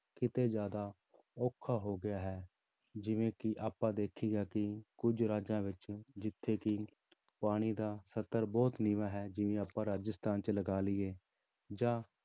ਕਿਤੇ ਜ਼ਿਆਦਾ ਔਖਾ ਹੋ ਗਿਆ ਹੈ, ਜਿਵੇਂ ਕਿ ਆਪਾਂ ਦੇਖੀਦਾ ਕਿ ਕੁੱਝ ਰਾਜਾਂ ਵਿੱਚ ਜਿੱਥੇ ਕਿ ਪਾਣੀ ਦਾ ਸਤਰ ਬਹੁਤ ਨੀਵਾਂ ਹੈ, ਜਿਵੇਂ ਆਪਾਂ ਰਾਜਸਥਾਨ ਚ ਲਗਾ ਲਈਏ ਜਾਂ